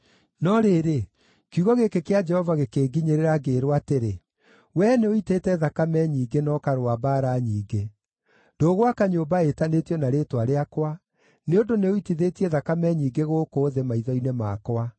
No rĩrĩ, kiugo gĩkĩ kĩa Jehova gĩkĩnginyĩrĩra, ngĩĩrwo atĩrĩ, ‘Wee nĩũitĩte thakame nyingĩ na ũkarũa mbaara nyingĩ. Ndũgwaka nyũmba ĩtanĩtio na rĩĩtwa rĩakwa, nĩ ũndũ nĩũitithĩtie thakame nyingĩ gũkũ thĩ, maitho-inĩ makwa.